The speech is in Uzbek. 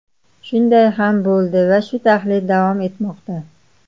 Shunday ham bo‘ldi va shu taxlit davom etmoqda.